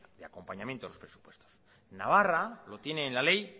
de acompañamiento a los presupuestos en navarra lo tiene en la ley